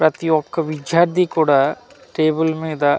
ప్రతి ఒక్క విద్యార్థి కూడా టేబుల్ మీద.